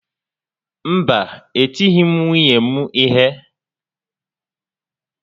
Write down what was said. Mba e tighi m nwunye m ihe